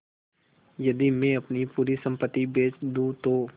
यदि मैं अपनी पूरी सम्पति बेच दूँ तो